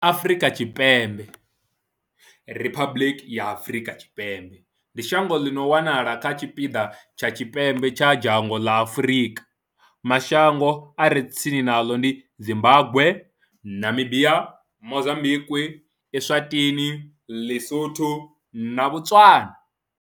Afrika Tshipembe, Riphabuḽiki ya Afrika Tshipembe, ndi shango ḽi no wanala kha tshipiḓa tsha tshipembe tsha dzhango ḽa Afurika. Mashango a re tsini naḽo ndi Zimbagwe, Namibia, Mozambikwi, Eswatini, ḼiSotho na Botswana.